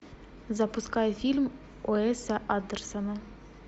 запускай фильм уэса андерсона